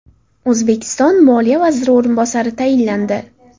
O‘zbekiston Moliya vaziri o‘rinbosari tayinlandi.